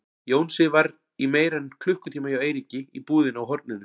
Jónsi var í meira en klukkutíma hjá Eiríki í búðinni á horninu.